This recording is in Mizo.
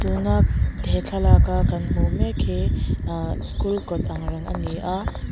tuna he thlalak a kan hmuh mek hi ahh school kawt ang reng ani a.